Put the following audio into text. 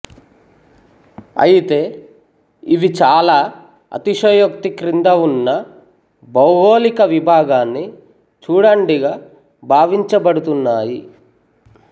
అయితే ఇవి చాలా అతిశయోక్తి క్రింద ఉన్న భౌగోళిక విభాగాన్ని చూడండిగా భావించబడుతున్నాయి